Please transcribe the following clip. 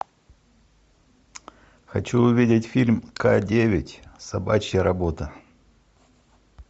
хочу увидеть фильм к девять собачья работа